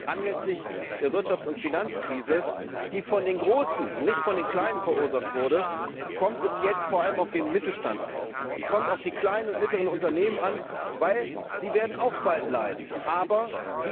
Anlässlich der Wirtschafts und Finanzkrise, die von den Großen und nicht von den Kleinen verursacht wurde, kommt es jetzt vor allem auf den Mittelstand an. Es kommt auf die kleinen und mittleren Unternehmen an, weil sie auch bald leiden werden.